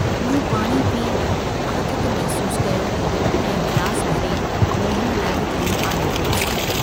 मूं पाणी पी आथत महसूस कयो ऐं गिलास भरे मोहन लाइ बि खणी आयो हुअस।